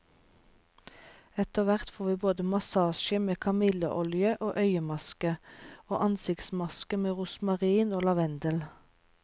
Etterhvert får vi både massasje med kamilleolje og øyemaske, og ansiktsmaske med rosmarin og lavendel.